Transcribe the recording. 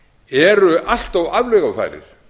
eru allt of aflögufærir